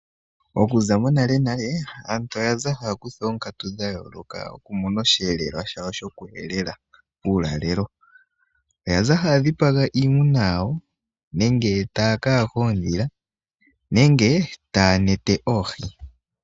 Okuza monale male aantu oya haya kutha oonkatu dhayooloka okumona oshihelelwa shawo shoku helela uulalelo wawo. Oyaza haya dhipaga iimuna yawo nenge taya ka yaha oodhila nenge taya neta oohi.